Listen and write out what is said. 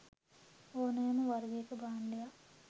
ඕනෑම වර්ගයක භාණ්ඩයක්